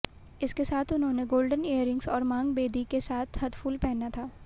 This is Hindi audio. इसके साथ उन्होंने गोल्डन ईयररिंग्स और मांग बेदी के साथ हथफूल पहना था